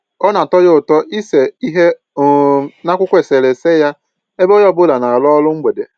Ọ na-atọ ya ụtọ ịse ihe um n'akwụkwọ eserese ya ebe onye ọ bụla na-arụ ọrụ mgbede